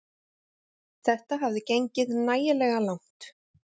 Þetta hafði gengið nægilega langt.